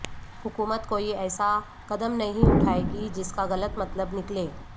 حکومت کوئی ایسا قدم نہیں اٹھائے گی جس کا غلط مطلب نکلے